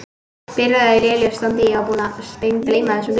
Byrjaði í lélegu standi Ég var búinn að steingleyma þessum leik.